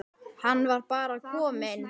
Hann var bara kominn.